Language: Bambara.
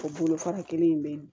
O bolo fara kelen in be yen